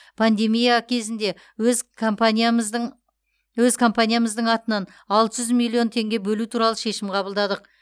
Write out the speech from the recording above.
пандемия кезінде өз компаниямыздың өз компаниямыздың атынан алты жүз миллион теңге бөлу туралы шешім қабылдадық